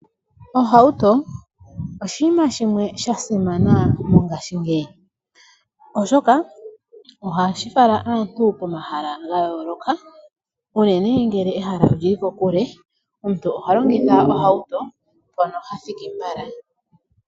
Ohautu oshiima shimwe shasimana mongaashingeyi, oshoka ohashifala aantu komahala ga yooloka unene ngele ehala oli li kokule omuntu oho longitha ohauto mpono ha thiki mbala.